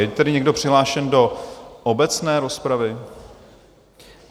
Je tady někdo přihlášen do obecné rozpravy?